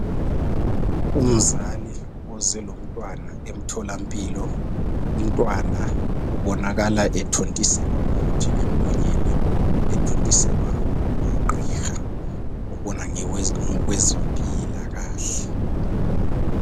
Umzali oze lomntwana emtholampilo, umntwana ubonakala ethontiselwa umuthi emlonyeni, ethontiselwa ngugqiha ubona ngokwezempilakahle.